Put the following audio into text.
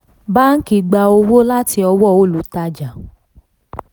báńkì gbà owó láti ọwọ́ olùtajà